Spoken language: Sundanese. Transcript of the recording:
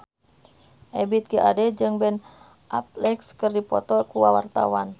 Ebith G. Ade jeung Ben Affleck keur dipoto ku wartawan